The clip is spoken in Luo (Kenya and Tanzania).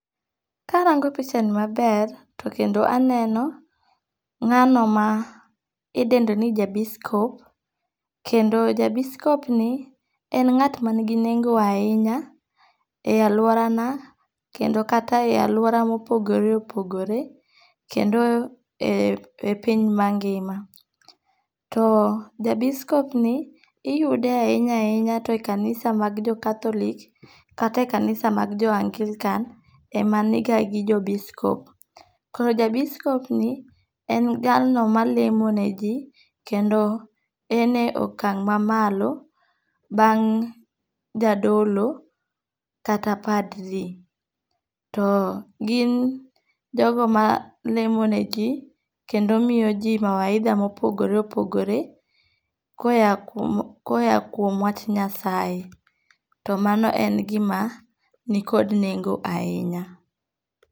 Karango pichani maber, to kendo aneno nga'no ma idendo ni jabiskop, kendo ja biskop ni en nga't manigi nengo ahinya e aluorana kendo kata e aluora mopogore opogore, kendo e piny mangi'ma , to ja biskopni iyude ahinya ahinya to e kanisa mag jo catholic kata e kanisa mag jo anglican emaniga gi jo biskopni koro ja biskopni en jalno malemoneji kendo ene okang' mamalo bang' jadolo kata padri, to gin jogo malemoneji kendo miyo ji mawaitha ma opogore opogore ka oya kuom ka oya kuom wach nyasaye to mano en gima nikod nengo' ahinya.